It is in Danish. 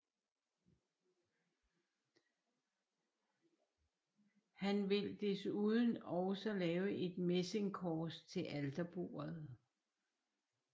Han vil desuden også lavet et messingkors til alterbordet